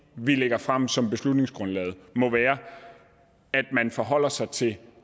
vi lægger frem som beslutningsgrundlaget må være at man forholder sig til